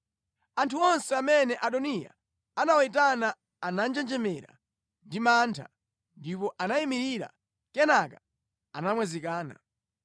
Anthu onse amene Adoniya anawayitana ananjenjemera ndi mantha, ndipo anayimirira, kenaka anamwazikana.